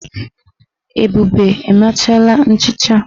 Ebube emechala nchicha.